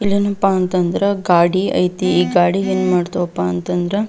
ಇಲ್ಲಿ ಏನಪ್ಪಾ ಅಂತಂದ್ರ ಗಾಡಿ ಐತಿ ಈ ಗಾಡಿ ಏನ್ ಮಾಡ್ತವಪ್ಪ ಅಂತಂದ್ರ --